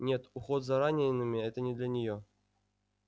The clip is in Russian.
нет уход за ранеными это не для неё